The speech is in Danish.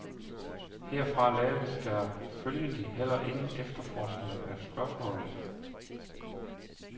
Herfra laves der følgelig heller ingen efterforskning af spørgsmålet.